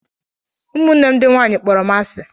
Ụmụnne m ndị nwanyị kpọrọ m asị